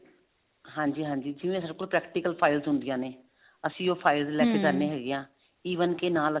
ਹਾਂਜੀ ਹਾਂਜੀ ਜਿਵੇਂ ਸਾਡੇ ਕੋਲ practical file ਹੁੰਦੀਆਂ ਨੇ ਅਸੀਂ ਉਹ file ਲੈਕੇ ਜਾਂਦੇ ਹੈਗੇ ਹਾਂ even ਕੇ ਨਾਲ ਅਸੀਂ